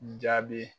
Jaabi